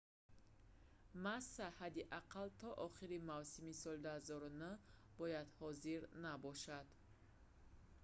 масса ҳадди ақал то охири мавсими соли 2009 бояд ҳозир набошад